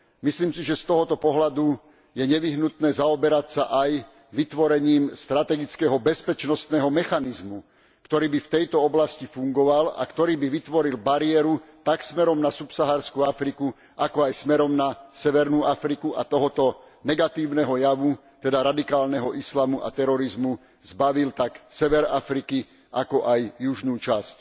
Myslím si, že z tohto pohľadu je nevyhnutné zaoberať sa aj vytvorením strategického bezpečnostného mechanizmu, ktorý by v tejto oblasti fungoval a ktorý by vytvoril bariéru tak smerom na subsaharskú Afriku, ako aj smerom na severnú Afriku, a tohto negatívneho javu teda radikálneho islamu a terorizmu zbavil tak sever Afriky, ako aj južnú časť.